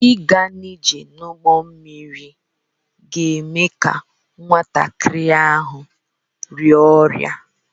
Ịga njem n'ụgbọ mmiri ga-eme ka nwatakịrị ahụ rịa ọrịa